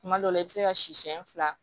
Kuma dɔ la i bɛ se ka siyɛn fila